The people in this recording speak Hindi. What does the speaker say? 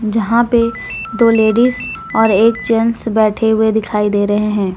जहां पे दो लेडीज और एक जेंस बैठे हुए दिखाई दे रहे हैं।